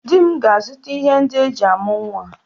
Di m ga-azuta ihe ndị eji amụ nwa